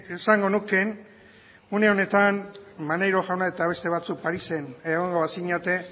esango nuke une honetan maneiro jauna eta beste batzuk parisen egongo bazinate